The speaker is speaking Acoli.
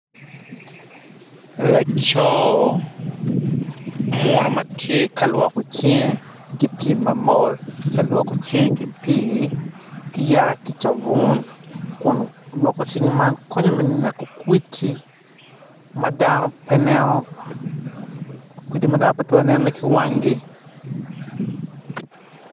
Laco muno ma tye ka lwoko cinge ki pii ma mol tye ka lwoko cinge ki pii mamol ki cabun kun lwoko cing man konyo me neko kwdidi madno petwero nenone ki wangi.